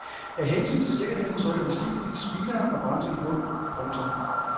Af hensyn til sikkerheden trykker vi skiftevis speederen og bremsen i bund. punktum